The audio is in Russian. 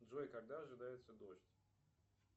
джой когда ожидается дождь